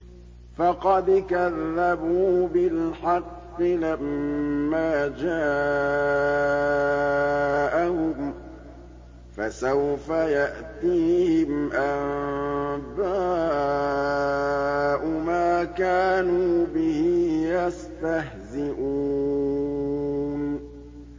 فَقَدْ كَذَّبُوا بِالْحَقِّ لَمَّا جَاءَهُمْ ۖ فَسَوْفَ يَأْتِيهِمْ أَنبَاءُ مَا كَانُوا بِهِ يَسْتَهْزِئُونَ